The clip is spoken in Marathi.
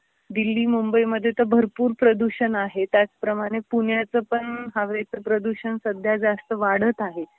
दिल्ली, मुंबईमध्ये तर भरपूर प्रदूषण आहे, त्याच प्रमाणे पुण्याच पण हवेच प्रदूषण सध्या जास्त वाढत आहे.